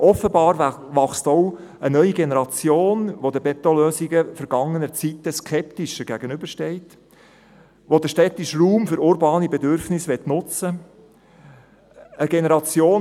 Offenbar wächst auch eine neue Generation heran, die den Betonlösungen vergangener Zeiten skeptischer gegenübersteht und die den städtischen Raum für urbane Bedürfnisse nutzen möchte.